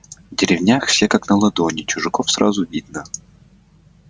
в деревнях все как на ладони чужаков сразу видно